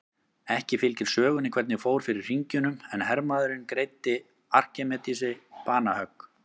Ekki fylgir sögunni hvernig fór fyrir hringjunum en hermaðurinn greiddi Arkímedesi banahögg.